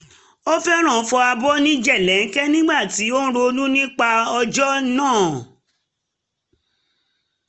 ó fẹ́ràn fọ abọ́ ní jèlẹ́ńkẹ́ nígbà tí ó ń ronú nípa ọjọ́ náà